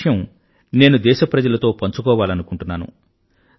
ఆ విషయం నేను దేశప్రజలతో పంచుకోవాలనుకుంటున్నాను